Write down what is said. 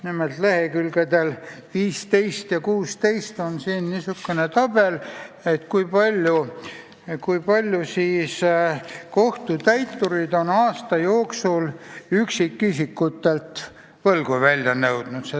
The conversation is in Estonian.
Nimelt, lehekülgedel 15 ja 16 on tabel, kui palju kohtutäiturid on aasta jooksul üksikisikutelt võlgu välja nõudnud.